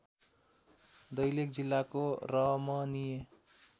दैलेख जिल्लाको रमणीय